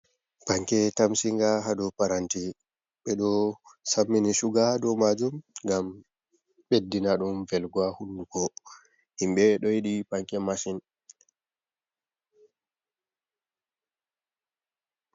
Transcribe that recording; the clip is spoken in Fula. Panke tamsinga, haa do paranti, ɓe ɗo sammini suga haa do maajum, ngam ɓeddina ɗum velgo haa hunduko, himɓe ɗo yiɗi panke masin.